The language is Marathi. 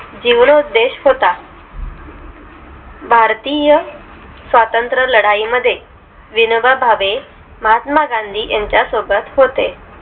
जिवाणउदेश होता भारतीय स्वतंत्र लडाई मध्ये विनोबा भावे महात्मा गांधी यांच्या सोबत होते